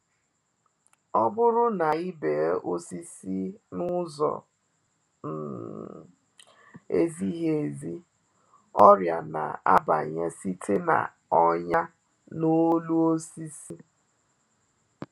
Ọ bụrụ na i bee osisi na-ụzọ um ezighi ezi, ọrịa na-abanye site na’ọnyà n’olu osisi.